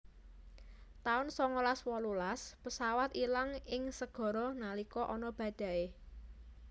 taun songolas wolulas pesawat ilang ing segara nalika ana badai